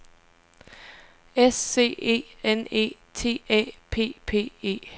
S C E N E T Æ P P E